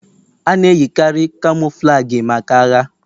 A na-eyikarị Camouflagi maka agha.